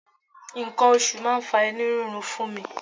Nǹkan oṣù máa ń fa inú rírun fún mi.